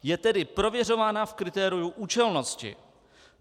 Je tedy prověřována v kritériu účelnosti.